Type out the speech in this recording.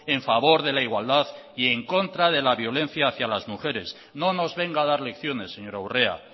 en favor de la igualdad y en contra de la violencia hacia las mujeres no nos venga a dar lecciones señora urrea